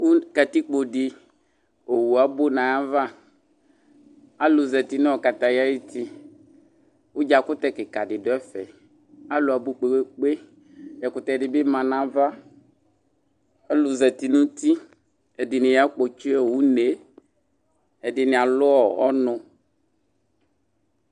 Katikpo di owʋ abʋ nʋ ayava alʋ zati nʋ kataya ayʋti ʋdzakʋtɛ kika di dʋ ɛfɛ alʋ abʋ kpe kpe kpe ɛkʋtɛdi bi ma nʋ ava alʋ zati nʋ uti ɛdini yakpɔtsi une ɛdini alʋ ɔnʋ